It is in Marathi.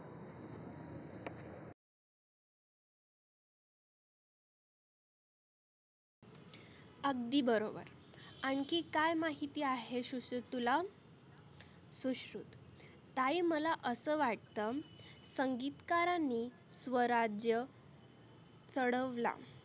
अगदी बरोबर आनखी काय माहिती आहे शुश्रुत तुला? शुश्रुत ताई मला असं वाटतं संगितकारांनी स्वराज्य चढवला.